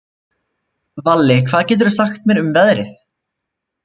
Valli, hvað geturðu sagt mér um veðrið?